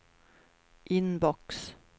inbox